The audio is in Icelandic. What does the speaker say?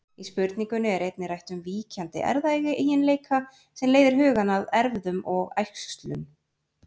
Í spurningunni er einnig rætt um víkjandi erfðaeiginleika sem leiðir hugann að erfðum og æxlun.